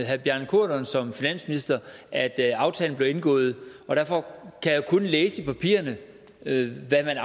herre bjarne corydon som finansminister at at aftalen blev indgået og derfor kan jeg kun læse i papirerne hvad man